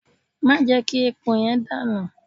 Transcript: Má jẹ́ kí epo yẹn dànù!